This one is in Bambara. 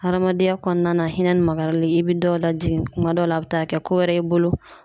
Hadamadenya kɔnɔna hinɛ ni makari i bi dɔw lajigin kuma dɔw la a be taa kɛ ko wɛrɛ ye i bolo